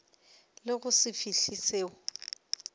le go se fihle selo